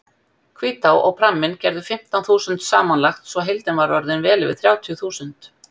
Hvítá og pramminn gerðu fimmtán þúsund samanlagt svo heildin var orðin vel yfir þrjátíu þúsund.